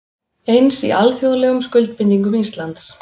Eins í alþjóðlegum skuldbindingum Íslands